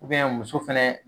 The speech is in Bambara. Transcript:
muso fɛnɛ